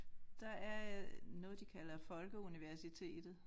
Der er øh noget de kalder folkeuniversitet